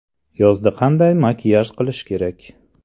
Yozda qanday makiyaj qilish kerak?.